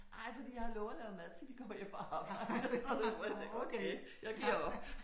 Ej fordi jeg har lovet at lave mad til de kommer hjem fra arbejde hvor jeg tænker okay jeg giver op